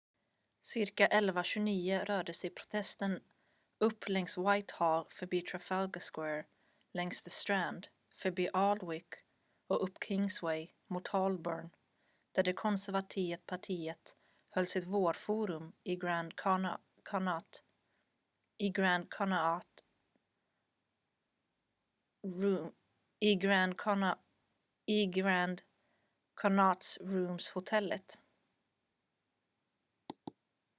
cirka 11.29 rörde sig protesten upp längs whitehall förbi trafalgar square längs the strand förbi aldwych och upp kingsway mot holborn där det konservativa partiet höll sitt vårforum i grand connaught rooms-hotellet